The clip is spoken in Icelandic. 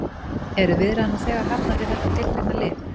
Eru viðræður nú þegar hafnar við þetta tiltekna lið?